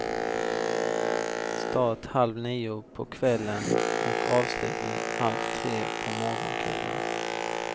Start halv nio på kvällen och avslutning halv tre på morgonkulan.